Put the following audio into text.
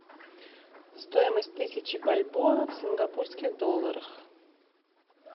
стоимость тысячи бальбоа в сингапурских долларах